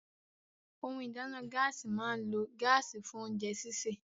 Ohun ìdáná Gáàsì máa ń lo gáàsì fún oúnjẹ sisè